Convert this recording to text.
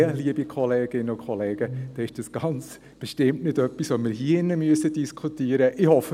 Dann, liebe Kolleginnen und Kollegen, ist dies ganz bestimmt nicht etwas, das wir hier drin diskutieren müssen.